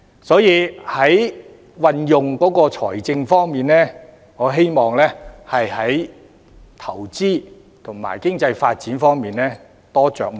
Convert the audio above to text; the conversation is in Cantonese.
所以，就運用財政而言，我希望政府會在投資及經濟發展方面多着墨。